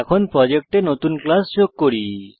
এখন প্রজেক্টে নতুন ক্লাস যোগ করি